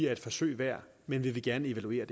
er et forsøg værd men vi vil gerne evaluere